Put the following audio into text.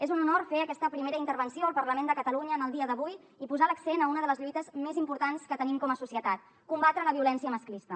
és un honor fer aquesta primera intervenció al parlament de catalunya en el dia d’avui i posar l’accent en una de les lluites més importants que tenim com a societat combatre la violència masclista